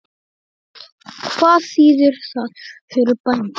Hvað þýðir það fyrir bændur?